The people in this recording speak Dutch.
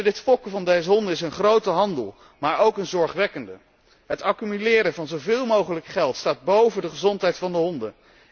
Het fokken van deze honden is een grote handel, maar ook een zorgwekkende. Het accumuleren van zoveel mogelijk geld staat boven de gezondheid van de honden.